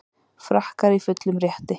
Frakkar í fullum rétti